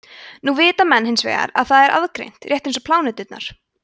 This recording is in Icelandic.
nú vita menn hins vegar að það er aðgreint rétt eins og pláneturnar